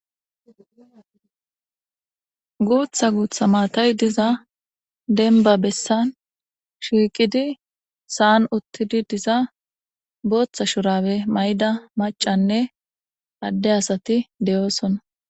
Guththa guththa maatay diiza demba bessan shiqidi sa'an uttidi diza booththa shurabe mayida maccaynne ade asati de7osona.